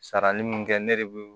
Sarali min kɛ ne de bi